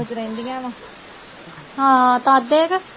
ਹਾਂ ਤਦ ਏ ਕੇ।